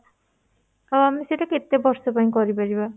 ଆଉ ଆମେ ସେଟା କେତେ ବର୍ଷ ପାଇଁ କରି ପରିବା?